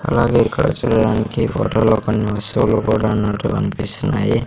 అలాగే ఇక్కడ చూడడానికి ఫోటో లో కొన్ని వస్తువులు కూడా ఉన్నట్టు కనిపిస్తున్నాయి.